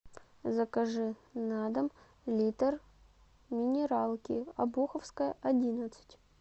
закажи на дом литр минералки обуховская одиннадцать